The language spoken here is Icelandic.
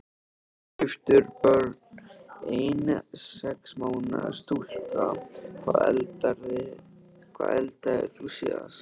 Giftur Börn: Ein sex mánaða stúlka Hvað eldaðir þú síðast?